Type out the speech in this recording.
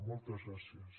moltes gràcies